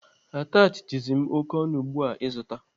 Atachị dizi m oké ọnụ ugbu a ịzụta.